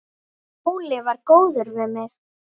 Óli var góður við mig.